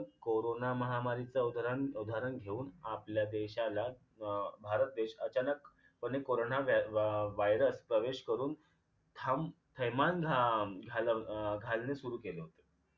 corona महामारीच उदारन उदाहरण घेऊन आपल्या देशाला अं भारत देशात अचानक कोणी corona virus प्रवेश करून हम्म थैमान अं घालणे सुरु केले